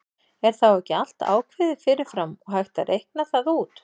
Er þá ekki allt ákveðið fyrir fram og hægt að reikna það út?